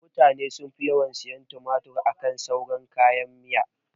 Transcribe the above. Mutane sun fi yawan sayan tumatur akan sauran kayan miya